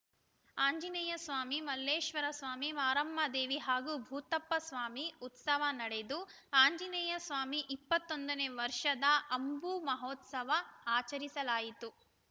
ಆಂಜನೇಯ ಸ್ವಾಮಿ ಮಲ್ಲೇಶ್ವರ ಸ್ವಾಮಿ ಮಾರಮ್ಮದೇವಿ ಹಾಗೂ ಭೂತಪ್ಪ ಸ್ವಾಮಿ ಉತ್ಸವ ನಡೆದು ಆಂಜನೇಯ ಸ್ವಾಮಿ ಇಪ್ಪತ್ತ್ ಒಂದನೇ ವರ್ಷದ ಅಂಬು ಮಹೋತ್ಸವ ಆಚರಿಸಲಾಯಿತು